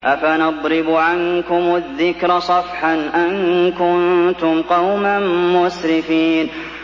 أَفَنَضْرِبُ عَنكُمُ الذِّكْرَ صَفْحًا أَن كُنتُمْ قَوْمًا مُّسْرِفِينَ